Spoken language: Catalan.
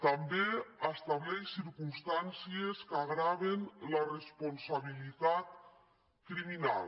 també estableix circumstàncies que agreugen la responsabilitat criminal